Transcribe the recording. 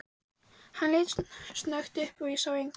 Hann leit snöggt upp, en sá engan.